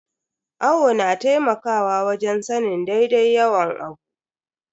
Awo na taimakawa wajen sanin daidai yawan abu.